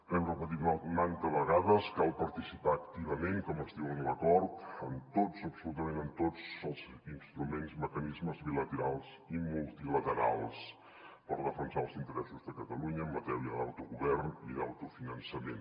hem repetit manta vegades cal participar activament com es diu en l’acord en tots absolutament en tots els instruments mecanismes bilaterals i multilaterals per defensar els interessos de catalunya en matèria d’autogovern i d’autofinançament